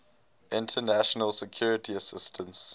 international security assistance